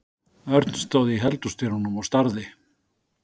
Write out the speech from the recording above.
Örn stóð í eldhúsdyrunum og starði.